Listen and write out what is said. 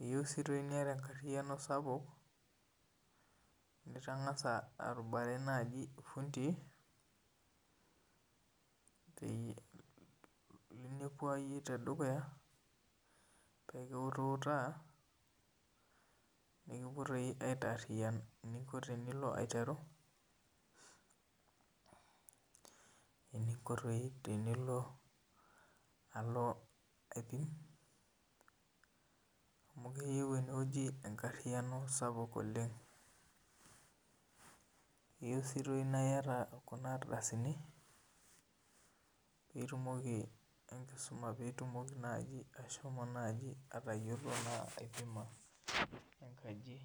eyieu niga enkariano sapuk nitangasa airiamarie fundii pekiutaa nikipuo aitaariyan eninko tenilo aiteru alo aibung nakeyieu enewueji enkariano sapuk oleng kayieu na iyata kuna ardasini pitumoki najibatayiolo aikeno enkaji.